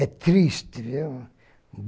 É triste, viu?